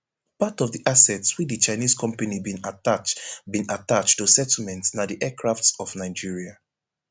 part of di assets wey di chinese company bin attach bin attach to settlement na di aircrafts of nigeria